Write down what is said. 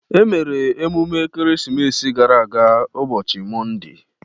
E mere emume Ekeresimesi gara aga ụbọchị Monde.